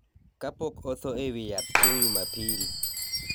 kapok otho e wi yath chieng’ Jumapil,